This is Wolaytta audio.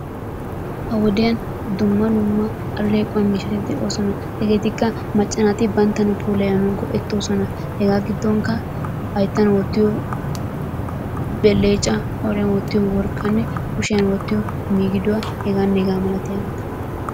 Ha wodiyaani dumma dumma allequwaa miishatti de'ossona hegettikka macca naatti banttana puulayanawu go'ettosona. Hegettu gidonikka hayttan wottiyo belecca qooriyan wottiyo worqqanne kushiyan wottiyo migiduwaa hegane hrgaa malattiyabatta.